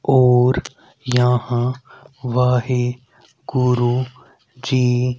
और यहां वाहे गुरु जी--